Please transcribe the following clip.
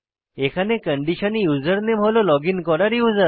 এখানে কন্ডিশনে ইউসারনেম হল লগইন করা ইউজার